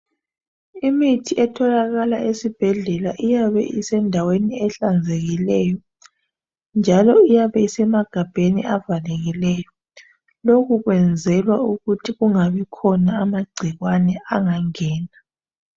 Imithi etholakala esibhedlela iyabe isendaweni ehlanzekileyo, njalo ayabe esemagabheni avalekileyo. Lokho kuyenzelwa ukuthi kungabi khona amagcikwane angangena.